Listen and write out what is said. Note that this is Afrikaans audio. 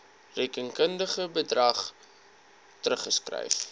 rekenkundige bedrag teruggeskryf